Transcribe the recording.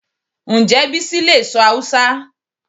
Ǹjẹ́ Bísí lè sọ Hausa